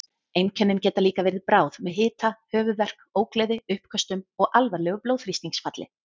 Einkennin geta líka verið bráð með hita, höfuðverk, ógleði, uppköstum og alvarlegu blóðþrýstingsfalli.